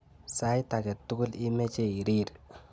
Sait age tugul imeche irir.